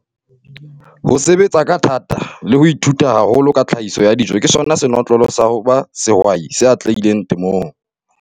Ho sebetsa ka thata le ho ithuta haholo ka tlhahiso ya dijo ke sona senotlolo sa ho ba sehwai se atlehileng temong.